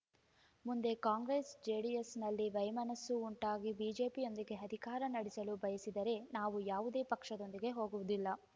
ಮುಂದೆ ಕಾಂಗ್ರೆಸ್‌ ಜೆಡಿಎಸ್‌ನಲ್ಲಿ ವೈಮನಸ್ಸು ಉಂಟಾಗಿ ಬಿಜೆಪಿಯೊಂದಿಗೆ ಅಧಿಕಾರ ನಡೆಸಲು ಬಯಸಿದರೆ ನಾವು ಯಾವುದೇ ಪಕ್ಷದೊಂದಿಗೆ ಹೋಗುವುದಿಲ್ಲ